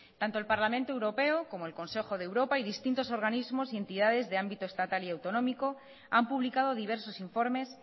tanto el parlamento europeo como el consejo de europa y distintos organismos y entidades de ámbito estatal y autonómico han publicado diversos informes